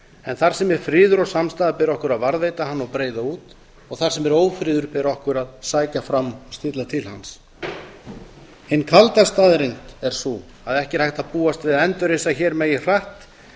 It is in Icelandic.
en þar sem er friður og samstaða ber okkur að varðveita hana og breiða út og þar sem er ófriður ber okkur að sækja fram og stilla til hans hin kalda staðreynd er sú að ekki er hægt að búast við að endurreisa hér megi hratt